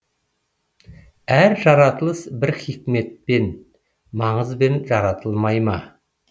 әр жаратылыс бір хикметпен маңызбен жаратылмай ма